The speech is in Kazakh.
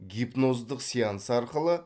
гипноздық сеанс арқылы